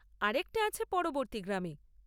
আরেকটা আছে পরবর্তী গ্রামে।